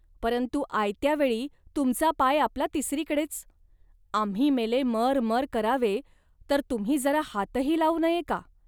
परंतु आयत्या वेळी तुमचा पाय आपला तिसरीकडेच. आम्ही मेले मरमर करावे तर तुम्ही जरा हातही लावू नये का